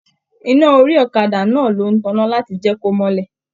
Iná orí ọ̀kàdà náà ló n tanná láti jẹ ko mọlẹ